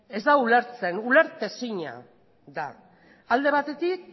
ez da ulertzen ulertezina da alde batetik